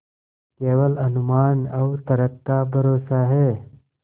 केवल अनुमान और तर्क का भरोसा है